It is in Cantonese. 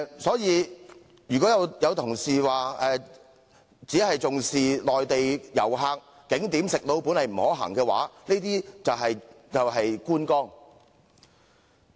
所以，如果有同事只是重視內地旅客，認為景點"食老本"不可行，他所談到的便是觀光。